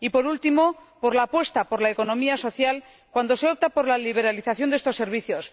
Y por último, por la apuesta por la economía social, cuando se opta por la liberalización de estos servicios.